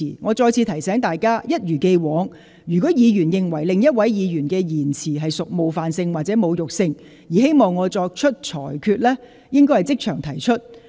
我再次提醒大家，一如既往，若議員認為另一位議員的言詞屬冒犯性或侮辱性，而希望我作出裁決，應即場提出。